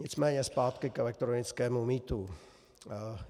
Nicméně zpátky k elektronickému mýtu.